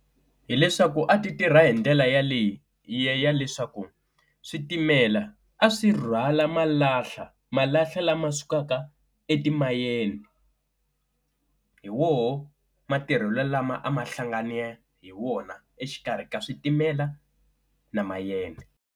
Hi leswaku a ti tirha hi ndlela yaleyi ya leswaku switimela a swi rhwala malahla, malahla lama sukaka etimayeni hi woho matirhelo lama a ma hlangane hi wona exikarhi ka switimela na mayini.